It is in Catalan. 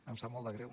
em sap molt de greu